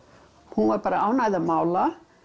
hún var bara ánægð að mála